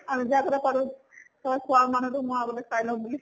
আৰু যে তই চোৱা মানুহ টোক মই আগতে চাই লওঁ বুলি